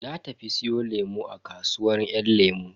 Na tafi siyo lemu a kasuwar yan lemu.